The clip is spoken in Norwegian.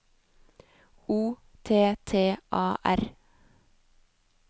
O T T A R